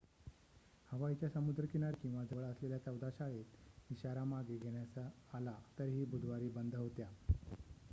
हवाईच्या समुद्र किनारी किंवा जवळ असलेल्या चौदा शाळेत इशारा मागे घेण्यात आला तरीही बुधवारी बंद होत्या